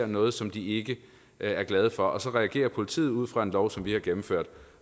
noget som de ikke er glade for og så reagerer politiet ud fra en lov som vi har gennemført